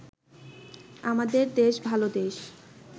আমাদের দেশ-ভাল দেশ